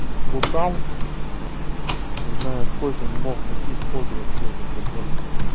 плутал не знаю сколько не мог найти сходу вообще этот забор